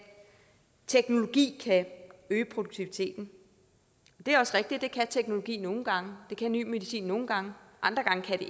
teknologi kan øge produktiviteten det er også rigtigt at det kan teknologi nogle gange og det kan ny medicin nogle gange og andre gange kan